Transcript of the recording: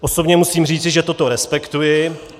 Osobně musím říci, že toto respektuji.